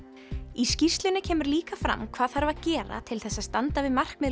í skýrslunni kemur líka fram hvað þarf að gera til þess að standa við markmið